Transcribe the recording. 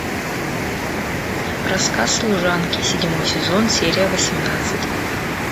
рассказ служанки седьмой сезон серия восемнадцать